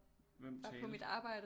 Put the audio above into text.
Hvem talte